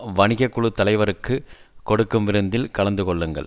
வணிக குழு தலைவருக்குக் கொடுக்கும் விருந்தில் கலந்து கொள்ளுங்கள்